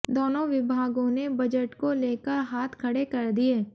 दोनों विभागों ने बजट को लेकर हाथ खड़े कर दिए